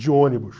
De ônibus.